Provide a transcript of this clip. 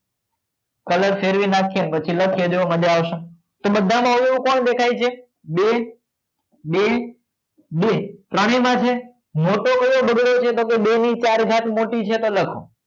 colour ફેરવી નાખીય અને લખીએ જોવો મજા અવસે તો બધામાં oo કોણ દેખાઈ છે બે બે બે બાજુમાં છે મોટો કયો બગડો છે તો કાય બે ની ચાર ઘાત મોટી છે તો લખો